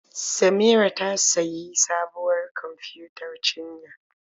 Samira ta sayi sabuwar kwamfiyutar cinya.